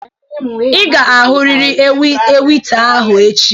Ị ga-ahụrịrị ewita ahụ echi!